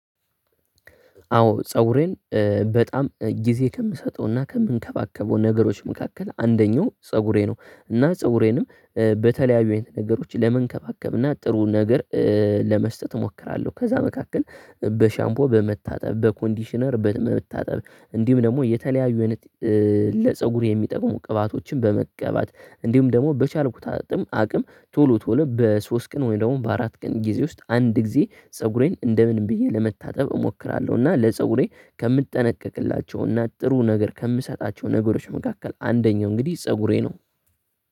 አዎ ፀጉሬን በጣም ጊዜ ከምሰጠውና ከምንከባከበው ነገሮች መካከል አንደኛው ፀጉሬ ነው እና ፀጉሬንም በተለያዩ ነገሮች ለመንከባከብ እና ጥሩ ነገር ለመስጠት እሞክራለሁ ከዛ መካከል በሻምፖ በመታጠብ፣ በኮንዲሽነር በመታጠብ እንዲሁም ደግሞ የተለያዩ አይነት ለፀጉር የሚጠቁሙ ቅባቶችን በመቀባት እንዲሁም ደግሞ በቻልኩታትም አቅም ቶሎ በሶስት ቀን ወይ ደግሞ በአራት ቀን ጊዜ ውስጥ አንድ ጊዜ ፀጉሬን እንደምንም ብዬ ለመታጠብ እሞክራለሁ፤ እና ለፀጉሬ ከምጠነቀቅላቸውና ጥሩ ነገር ከምሰጣቸው ነገሮች መካከል አንደኛው እንግዲህ ፀጉሬ ነው።